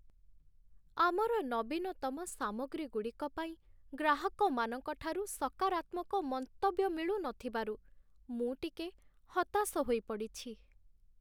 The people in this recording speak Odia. ଆମର ନବୀନତମ ସାମଗ୍ରୀଗୁଡ଼ିକ ପାଇଁ ଗ୍ରାହକମାନଙ୍କଠାରୁ ସକାରାତ୍ମକ ମନ୍ତବ୍ୟ ମିଳୁନଥିବାରୁ ମୁଁ ଟିକେ ହତାଶ ହୋଇପଡ଼ିଛି।